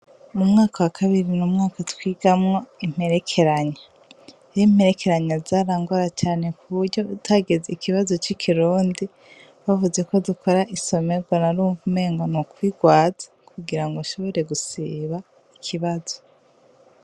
Mu mwaka wa kabiri bnumwaka twigamwo imperekeranya iri imperekeranya zarangora cane ku buryo utageze ikibazo c'ikirundi bavuze ko dukora isomerwa na rumva mengo ni kwirwaza kugira ngo ashobore gusiba ikibazo.